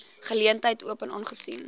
geleentheid open aangesien